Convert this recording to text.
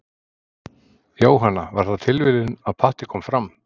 Jóhanna: Var það tilviljun að Patti kom fram?